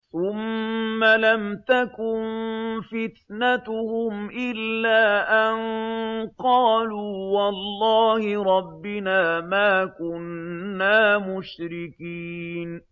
ثُمَّ لَمْ تَكُن فِتْنَتُهُمْ إِلَّا أَن قَالُوا وَاللَّهِ رَبِّنَا مَا كُنَّا مُشْرِكِينَ